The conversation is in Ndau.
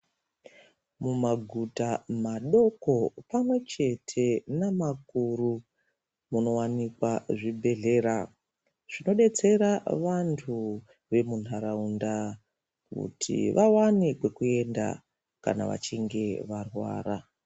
Mumaguta madoko pamwechete namakuru munowanikwa zvibhehlera zvinodetsera vantu vemunharaunda kuti vawane kwekuenda kana vachinge varwara.